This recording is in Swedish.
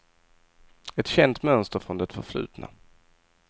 Ett känt mönster från det förflutna.